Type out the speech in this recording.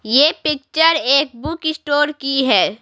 यह पिक्चर एक book store की है।